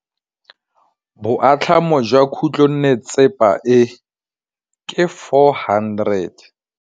Boatlhamô jwa khutlonnetsepa e, ke 400.